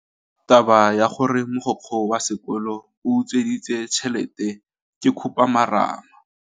Taba ya gore mogokgo wa sekolo o utswitse tšhelete ke khupamarama.